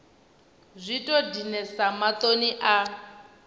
zwi tou dinesa maṱoni a